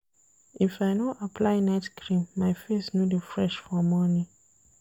If I no apply night cream, my face no dey fresh for morning.